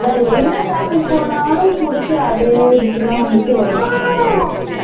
வேற என்ன topic போனாலும் புடிச்சி அதே இதுக்கு தான் வந்துட்டு வரும்